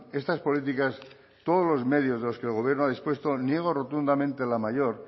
estas políticas todos los medios de los que el gobierno ha dispuesto niego rotundamente la mayor